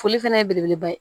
Foli fana ye belebeleba ye